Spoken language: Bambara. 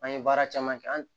An ye baara caman kɛ an